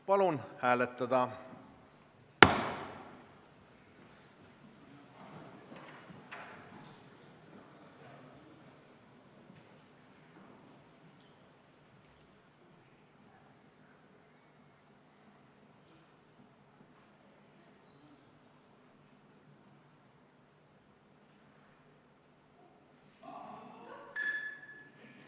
Palun hääletada!